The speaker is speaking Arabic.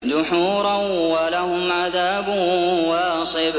دُحُورًا ۖ وَلَهُمْ عَذَابٌ وَاصِبٌ